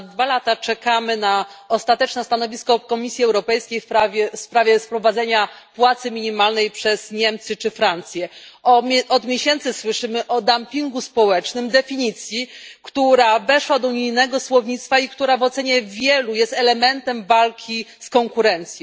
Ponad dwa lata czekamy na ostateczne stanowisko Komisji Europejskiej w sprawie wprowadzenia płacy minimalnej przez Niemcy czy Francję. Od miesięcy słyszymy o dumpingu społecznym, definicji, która weszła do unijnego słownictwa i która w ocenie wielu jest elementem walki z konkurencją.